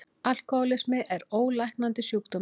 Alkohólismi er ólæknandi sjúkdómur.